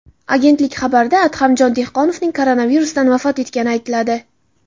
Agentlik xabarida Adhamjon Dehqonovning koronavirusdan vafot etgani aytiladi.